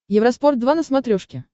евроспорт два на смотрешке